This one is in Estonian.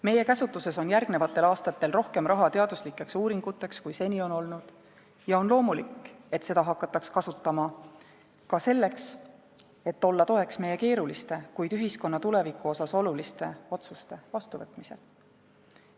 Meie käsutuses on järgnevatel aastatel rohkem raha teaduslikeks uuringuteks, kui seni on olnud, ja on loomulik, et seda hakataks kasutama ka selleks, et olla toeks meie keeruliste, kuid ühiskonna tuleviku mõttes oluliste otsuste vastuvõtmisel.